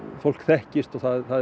fólk þekkist og